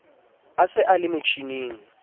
a se a le motjhining